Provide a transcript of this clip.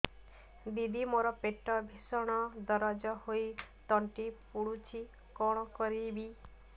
ଦିଦି ମୋର ପେଟ ଭୀଷଣ ଦରଜ ହୋଇ ତଣ୍ଟି ପୋଡୁଛି କଣ କରିବି